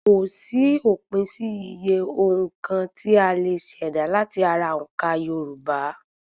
Kòsí òpin sí iye òǹka tí a lè ṣèdá láti ara òǹkà Yorùbá